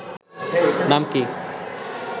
নাম কি